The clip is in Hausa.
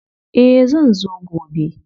Eh zan zo gobe.